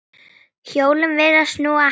Hjólin virðast snúast hægar.